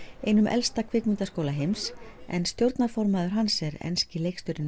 einum elsta kvikmyndaháskóla heims en stjórnarformaður hans er enski leikstjórinn